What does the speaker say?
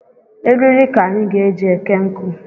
Eriri ka anyị ga-eji eke nkụ